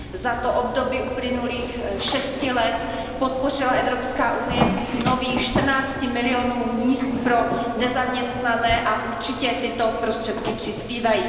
Za to období uplynulých šesti let podpořila Evropská unie vznik nových 14 milionů míst pro nezaměstnané a určitě tyto prostředky přispívají.